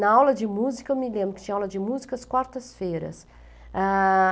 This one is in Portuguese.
Na aula de música, eu me lembro que tinha aula de música às quartas-feiras.